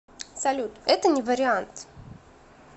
салют это не вариант